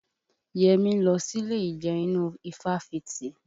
Yẹmí ń lọ sílé ìjẹun inú ifáfitì